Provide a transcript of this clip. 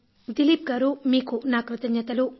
దిలీప్ గారు మీకు నా కృతజ్ఞతలు